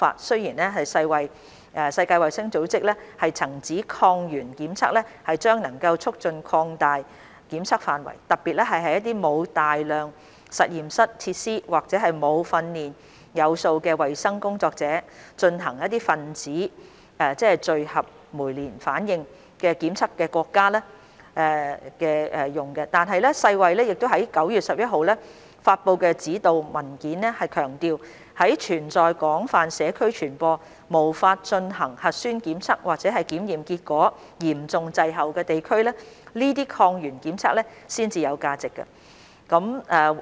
雖然世界衞生組織曾指抗原檢測將能促進擴大檢測範圍，特別是在沒有大量實驗室設施或沒有訓練有素的衞生工作者進行分子檢測的國家，但世衞在9月11日發布的指導文件強調，在存在廣泛社區傳播、無法進行核酸檢測或檢測結果嚴重滯後的地區，這些抗原檢測才有價值。